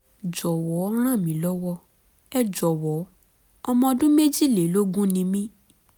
(jọ̀wọ́ ràn mí lọ́wọ́! ẹ jọ̀wọ́ ọmọ ọdún méjìlélógún ni mí!